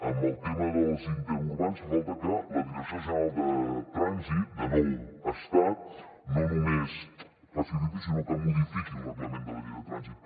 en el tema els interurbans fa falta que la direcció general de trànsit de nou l’estat no només faciliti sinó que modifiqui el reglament de la llei de trànsit